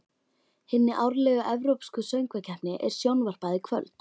Hinni árlegu evrópsku söngvakeppni er sjónvarpað í kvöld.